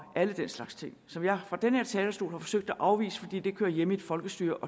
alle den slags ting som jeg fra denne talerstol har forsøgt at afvise fordi det hører hjemme i et folkestyre